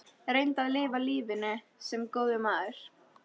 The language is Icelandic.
Reyndu að lifa lífinu- sem góður maður.